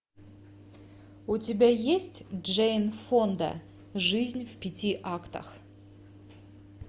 у тебя есть джейн фонда жизнь в пяти актах